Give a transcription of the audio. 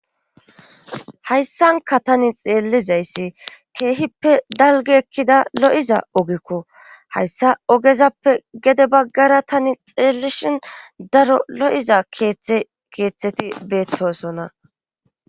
Hayssanka tani xeellizayssi keehippe dalgi ekkida lo'iza ogekko hayssa ogezappe gede baggara tani xeellishin daro lo'iza tkeeththeti beettosonna